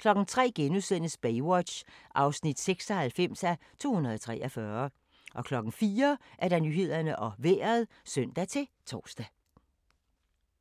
03:00: Baywatch (96:243)* 04:00: Nyhederne og Vejret (søn-tor)